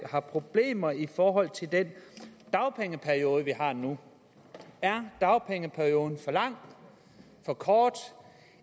har problemer i forhold til den dagpengeperiode vi har nu er dagpengeperioden for lang for kort